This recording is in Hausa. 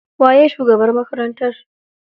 Waye shugaban makarantar?